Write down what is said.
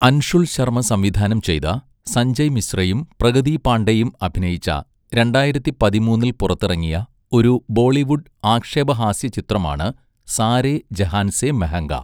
അൻഷുൽ ശർമ സംവിധാനം ചെയ്ത, സഞ്ജയ് മിശ്രയും പ്രഗതി പാണ്ഡെയും അഭിനയിച്ച രണ്ടായിരത്തിപതിമൂന്നിൽ പുറത്തിറങ്ങിയ ഒരു ബോളിവുഡ് ആക്ഷേപഹാസ്യ ചിത്രമാണ് സാരേ ജഹാൻ സെ മെഹംഗ.